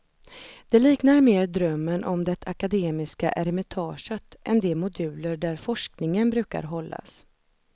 Det liknar mer drömmen om det akademiska eremitaget än de moduler där forskningen brukar hållas.